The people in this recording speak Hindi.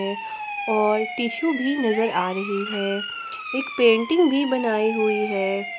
और टिशु भी नजर आ रही है एक पेंटिंग भी बनाई हुई है ।